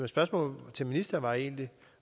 spørgsmål til ministeren var egentlig